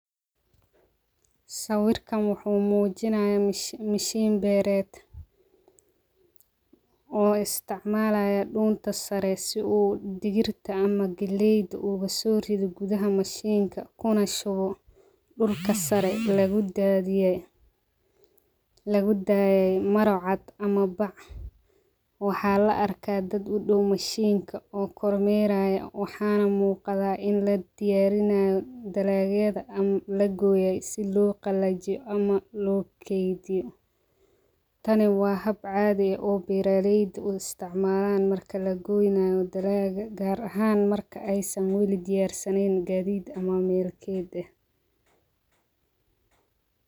Sawirkan wuxuu muujinayaa mishiin beereed oo isticmaalaya dhuunta sare si uu digirta ama dilayd uga soo rido gudaha mashiinka kuna shubo dhulka sare lagu daadiyey maracaad ama bac waxaa la arkaa dad u dhow mashiinka oo kormeeraya waxaana muuqdaa in la diyaarinayo dalaageeda ama la gooyay si loo qalajiyo ama loo keediyo taani waa haab cadi ah oo biiray isticmaalaan mar kale goynayo dalaaga gaar ahaan marka aysan weli diyaarsaneyn gaadiid ama meelkeeda.